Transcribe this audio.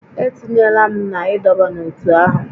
E tinyela m na ịdọba n'ótú ahụ!